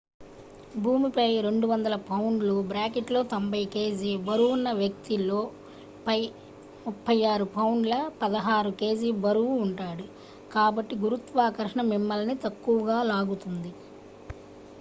భూమిపై 200 పౌండ్ల 90 kg బరువున్న వ్యక్తి lo పై 36 పౌండ్ల 16 kg బరువు ఉంటాడు కాబట్టి గురుత్వాకర్షణ మిమ్మల్ని తక్కువగా లాగుతుంది